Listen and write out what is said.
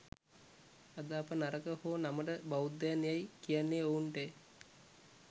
අද අප නරක හෝ නමට බෞද්ධයන් යයි කියන්නේ ඔවුන්ටය